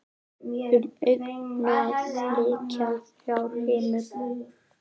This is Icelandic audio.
Um augað lykja þrjár himnur.